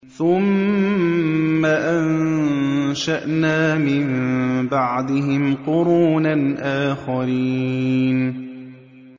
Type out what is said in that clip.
ثُمَّ أَنشَأْنَا مِن بَعْدِهِمْ قُرُونًا آخَرِينَ